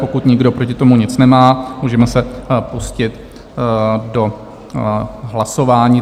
Pokud nikdo proti tomu nic nemá, můžeme se pustit do hlasování.